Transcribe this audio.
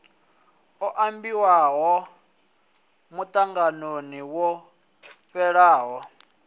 o ambiwaho muṱanganoni wo fhelaho